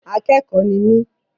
Akẹ́kọ̀ọ́ ni mí.